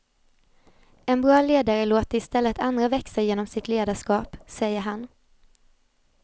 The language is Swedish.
En bra ledare låter istället andra växa genom sitt ledarskap, säger han.